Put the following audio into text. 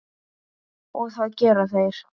Og það gera þeir.